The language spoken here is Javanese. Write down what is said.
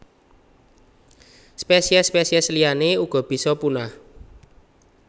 Spesiés spesiés liyané uga bisa punah